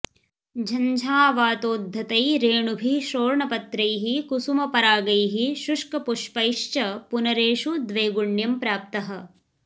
झञ्झावातोद्धतै रेणुभिः शोर्णपत्रैः कुसुमपरागैः शुष्कपुष्पेश्च पुनरेषु द्वैगुण्यं प्राप्तः